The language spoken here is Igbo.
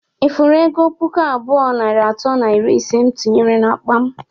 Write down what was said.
Ị fụrụ ego puku abụọ, narị atọ na iri ise mụ tinyere n'akpa m?